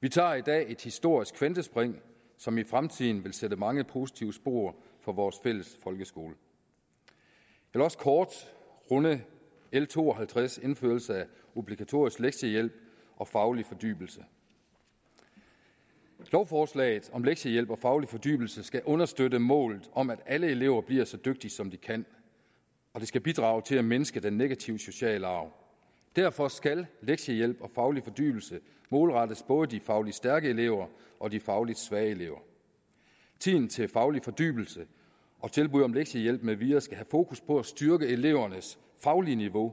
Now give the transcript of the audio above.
vi tager i dag et historisk kvantespring som i fremtiden vil sætte mange positive spor for vores fælles folkeskole jeg vil også kort runde l to og halvtreds om indførelse af obligatorisk lektiehjælp og faglig fordybelse lovforslaget om lektiehjælp og faglig fordybelse skal understøtte målet om at alle elever bliver så dygtige som de kan og det skal bidrage til at mindske den negative sociale arv derfor skal lektiehjælp og faglig fordybelse målrettes både de fagligt stærke elever og de fagligt svage elever tiden til faglig fordybelse og tilbud om lektiehjælp med videre skal have fokus på at styrke elevernes faglige niveau